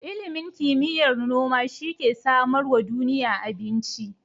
Ilimin kimiyar noma shi ke samarwa duniya abinci.